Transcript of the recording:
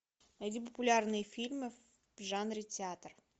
найди популярные фильмы в жанре театр